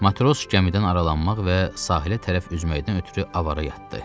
Matros gəmidən aralanmaq və sahilə tərəf üzməkdən ötrü avara yatdı.